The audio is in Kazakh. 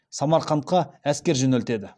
самарқантқа әскер жөнелтеді